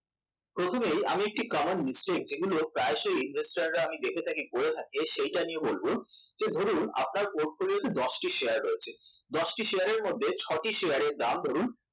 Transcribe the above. প্রথমেই আমি একটা common mistake যেগুলো প্রায়শই investor রা আমি দেখে থাকি করে থাকে যে ধরুন আপনার portfolio তে দশটি শেয়ার রয়েছে দশটি শেয়ারের মধ্যে ছটি